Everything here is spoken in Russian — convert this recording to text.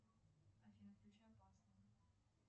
афина включи опасно